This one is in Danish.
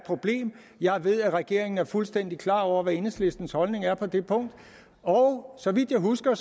problem jeg ved at regeringen er fuldstændig klar over hvad enhedslistens holdning er på det punkt og så vidt jeg husker